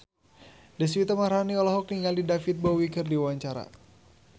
Deswita Maharani olohok ningali David Bowie keur diwawancara